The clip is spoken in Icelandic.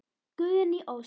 Guðný Ósk.